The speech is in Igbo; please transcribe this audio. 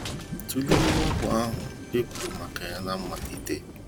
Tụlee mwakpo ahụ e kwuru maka ya ná mmalite.